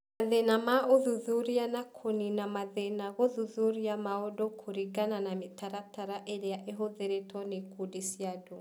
Mathĩna ma ũthuthuria na kũniina mathĩna gũthuthuria maũndũ kũringana na mĩtaratara ĩrĩa ĩhũthĩrĩtwo nĩ ikundi cia andũ